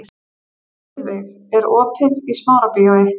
Heiðveig, er opið í Smárabíói?